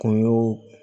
Kun y'o